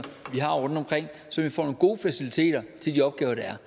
vi har rundtomkring så vi får nogle gode faciliteter til de opgaver der er